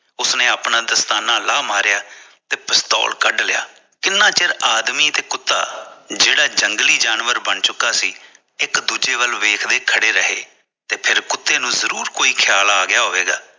ਉਸਨੇ ਅਪਣਾ ਦਸਤਾਨਾ ਲਾ ਮਾਰਿਆ ਤੇ ਪਿਸਟੋਲ ਕੱਢ ਲਿਆ ਕਿੰਨਾ ਚਿਰ ਆਦਮੀ ਤੇ ਕੁੱਤਾ ਜਿਹੜਾ ਜੰਗਲੀ ਜਾਨਵਰ ਬਣ ਚੁੱਕਾ ਸੀ ਇਕ ਦੂਜੇ ਵੱਲ ਵੇਖਦੇ ਖੜੇ ਰਹੇ ਫ਼ਿਰ ਕੁੱਤੇ ਜਰੂਰੁ ਕੋਈ ਖਿਆਲ ਆ ਗਿਆ ਹੋਵੇਗਾ